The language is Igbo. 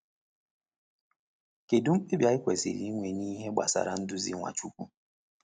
Kedu mkpebi anyị kwesịrị inwe n’ihe gbasara nduzi Nwachukwu?